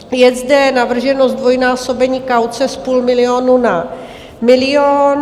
Je zde navrženo zdvojnásobení kauce z půl milionu na milion.